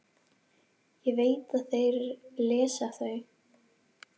Ég veit að þeir lesa þau.